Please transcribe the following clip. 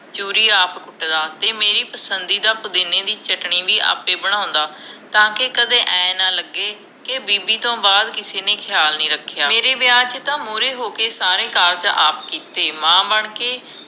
ਚੂਰੀ ਆਪ ਕੁਟਦਾ, ਤੇ ਮੇਰੀ ਪਸੰਦੀ ਦਾ ਪੁਦੀਨੇ ਦੀ ਚਟਨੀ ਵੀ ਆਪੇ ਬਣਾਉਂਦਾ ਤਾਂ ਕਿ ਕਦੇ ਏ ਨਾ ਲਗੇ ਕੇ ਬੀਬੀ ਤੋਂ ਬਾਅਦ ਕਿਸੀ ਨੇ ਖਿਆਲ ਨੀ ਰੱਖਿਆ, ਮੇਰੇ ਵਿਆਹ ਚ ਤਾ ਮੂਰੇ ਹੋਕੇ ਸਾਰੇ ਕਾਰਜ ਆਪ ਕੀਤੇ ਮਾਂ ਬਣਕੇ